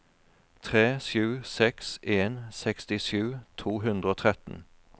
tre sju seks en sekstisju to hundre og tretten